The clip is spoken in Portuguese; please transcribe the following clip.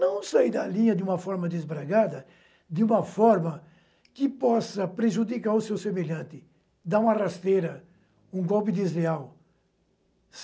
Não sair da linha de uma forma desbragada, de uma forma que possa prejudicar o seu semelhante, dar uma rasteira, um golpe desleal.